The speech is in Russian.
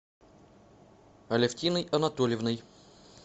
алевтиной анатольевной